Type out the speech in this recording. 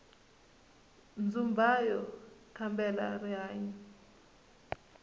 dzumbauya kambela rihanyu